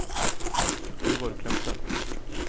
Halvor Kleppe